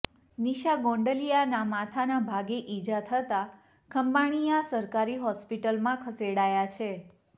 નિશા ગોંડલીયાના માથાના ભાગે ઇજા થતા ખંભાળીયા સરકારી હોસ્પિટલમાં ખસેડાયા છે